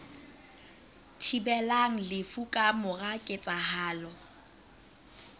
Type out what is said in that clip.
thibelang lefu ka mora ketsahalo